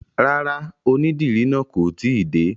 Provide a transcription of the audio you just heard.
Rárá, onídìrí náà kò tíì dé.